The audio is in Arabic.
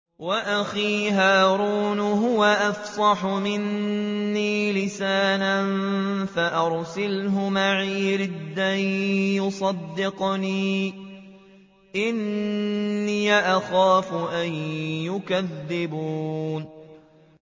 وَأَخِي هَارُونُ هُوَ أَفْصَحُ مِنِّي لِسَانًا فَأَرْسِلْهُ مَعِيَ رِدْءًا يُصَدِّقُنِي ۖ إِنِّي أَخَافُ أَن يُكَذِّبُونِ